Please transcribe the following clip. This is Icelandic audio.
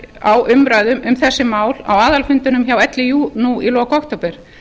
á umræðum um þessi mál á aðalfundinum hjá líú nú í lok október